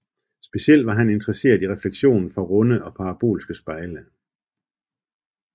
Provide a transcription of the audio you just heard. Specielt var han interesseret i refleksionen fra runde og parabolske spejle